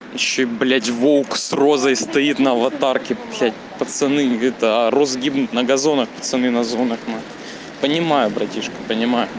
ещё блядь волк с розой стоит на аватарке потому что пацаны розы гибнут на газонах пацаны на зонах понимаю братишка понимаю